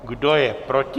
Kdo je proti?